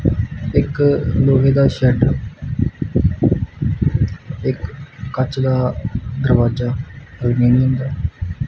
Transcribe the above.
ਇੱਕ ਲੋਹੇ ਦਾ ਸ਼ੈੱਡ ਇਕ ਕੱਚ ਦਾ ਦਰਵਾਜ਼ਾ ਅਲੁਮੀਨੀਅਮ ਦਾ --